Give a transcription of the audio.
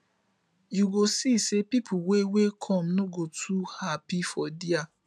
yu go see say pipo wey wey kom no go dey too hapi for dia